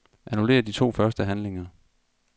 Annullér de to første handlinger.